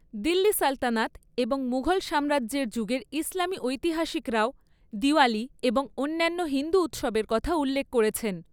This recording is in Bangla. দিল্লী সালতানাত এবং মুঘল সাম্রাজ্যের যুগের ইসলামী ঐতিহাসিকরাও দিওয়ালি এবং অন্যান্য হিন্দু উৎসবের কথা উল্লেখ করেছেন।